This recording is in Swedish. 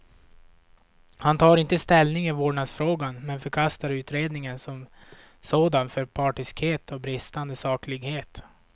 Han tar inte ställning i vårdnadsfrågan, men förkastar utredningen som sådan för partiskhet och bristande saklighet.